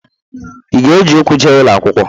Ị ga-eji ụkwụ je ụlọ akwụkwọ?